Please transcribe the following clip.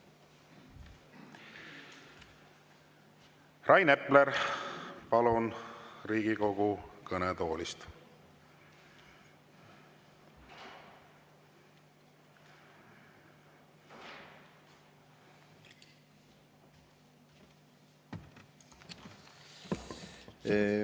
Rain Epler, palun Riigikogu kõnetooli!